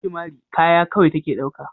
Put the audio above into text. Gingimari kaya kawai take dauka.